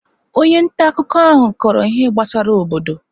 Onye nta akụkọ ahụ kọrọ ihe gbasara obodo.